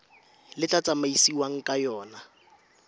le tla tsamaisiwang ka yona